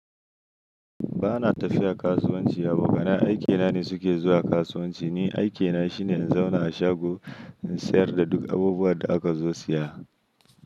Ba na tafiya kasuwanci, abokanan aikina ne suke zuwa kasuwanci. Ni aikina shine in zauna a shago in sayar da duk abubuwan da aka zo siya.